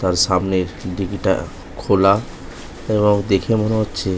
তার সামনের ডিকিটা খোলা এবং দেখে মনে হচ্ছে